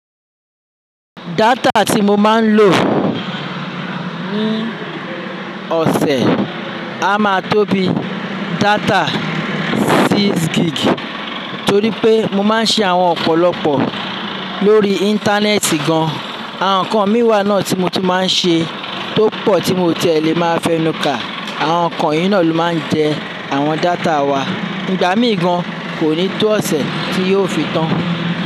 Data tí mo máa ń lò ní ọ̀sẹ̀ a máa tó bi data six gig torí pé mo máa ń ṣe àwọn ọ̀pọ̀lọpọ̀ lórí Íńtánẹ́ẹ̀tì gan. Àwọn nǹkan mìíràn náà tí mo ti máa ń ṣe tó pọ̀ tí mo tì ẹ lè máa fẹnu ka, àwọn nǹkan yìí náà ló máa ń jẹ àwọn data wa. Ìgbà mí gan kò ní tó ọ̀sẹ̀ tí yóò fi tán.